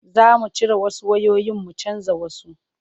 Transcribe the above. Za mu cire wasu wayoyin mu canja wasu.